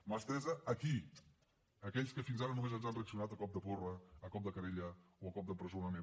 mà estesa a qui a aquells que fins ara només ens han reaccionat a cop de porra a cop de querella o a cop d’empresonament